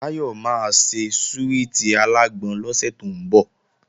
Táyọ̀ máa ṣe súwìtì alágbọn lọ́sẹ̀ tó ń bọ̀